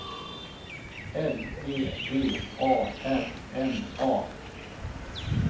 L E D A R N A